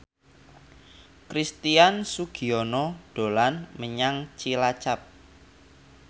Christian Sugiono dolan menyang Cilacap